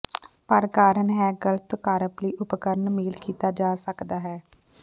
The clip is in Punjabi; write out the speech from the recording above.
ਪਰ ਕਾਰਨ ਹੈ ਗਲਤ ਕਾਰਪ ਲਈ ਉਪਕਰਣ ਮੇਲ ਕੀਤਾ ਜਾ ਸਕਦਾ ਹੈ